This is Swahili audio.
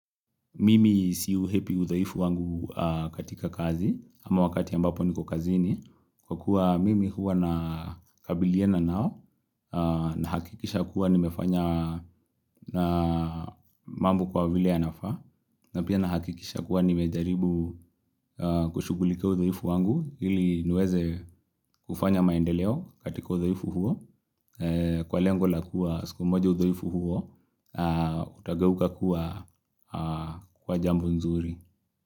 Mimi siuhepi udhaifu wangu katika kazi ama wakati ambapo niko kazini kwa kuwa mimi hua nakabiliana nao nahakikisha kuwa nimefanya na mambo kwa vile yabafaa. Na pia nahakikisha kuwa nimejaribu kushugulikia udhaifu wangu ili niweze kufanya maendeleo katika udhaifu huo kwa lengo la kuwa siku moja udhaifu huo Utageuka kuwa wa jambo nzuri.